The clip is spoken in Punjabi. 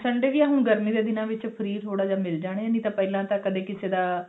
sunday ਵੀ ਆ ਹੁਣ ਗਰਮੀ ਦੇ ਦਿਨਾਂ ਵਿੱਚ free ਥੋੜਾ ਜਾ ਮਿਲ ਜਾਣੇ ਨੇ ਨਹੀਂ ਤੇ ਪਹਿਲਾਂ ਤਾਂ ਕਦੇ ਕਿਸੇ ਦਾ